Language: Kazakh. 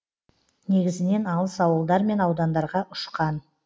негізінен алыс ауылдар мен аудандарға ұшқан